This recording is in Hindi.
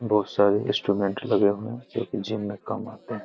बहुत सारे इंस्ट्रूमेंट लगे हुए हैं जो की जिम में काम आते हैं।